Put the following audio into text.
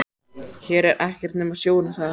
Hér er ekkert nema sjórinn, sagði hann.